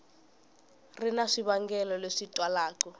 ri na swivangelo leswi twalaka